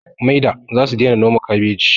Maida zasu daina noma kabeji